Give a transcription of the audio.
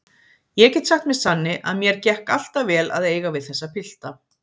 Ég get sagt með sanni að mér gekk alltaf vel að eiga við þessa pilta.